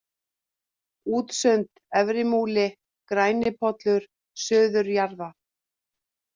Útsund, Efrimúli, Grænipollur, Suður-Jaðrar